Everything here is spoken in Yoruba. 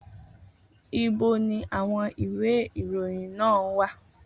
Ibo ni àwọn ìwé ìròyìn náà wà?